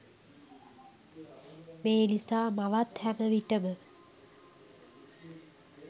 මේ නිසා මවත් හැම විටම